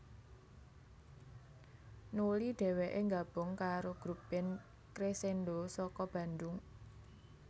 Nuli dhèwèké nggabung karo grup band Cresendo saka Bandung